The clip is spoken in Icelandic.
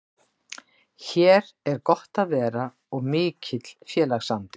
Hér er gott að vera og mikill félagsandi.